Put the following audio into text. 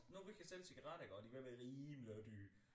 Nu vi kan sælge cigaretter iggå de er ved at være rimelig dyre